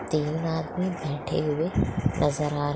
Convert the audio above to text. तीन आदमी बैठे हुए नजर आ --